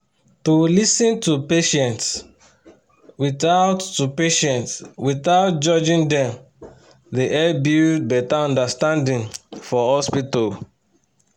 to lis ten to patients without to patients without judging dem dey help build better understanding for hospital.